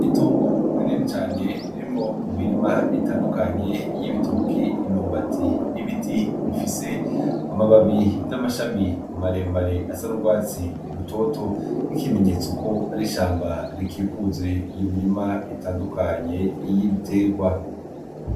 Itongo rinini cane ririmwo imirima itandukanye y'ibitoki, imyumbati, n'ibiti bifise amababi n'amashami maremare asa n'ugwatsi rutoto nk'ikimenyetso ko ari ishamba rikikuje iyo mirima itandukanye y'ibitegwa.